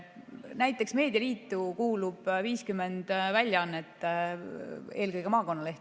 Näiteks meedialiitu kuulub 50 väljaannet, eelkõige maakonnalehed.